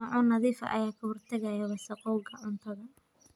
Maacuun nadiif ah ayaa ka hortagaya wasakhowga cuntada.